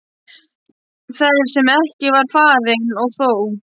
Ferð sem ekki var farin- og þó!